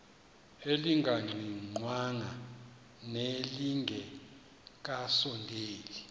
elingaqingqwanga nelinge kasondeli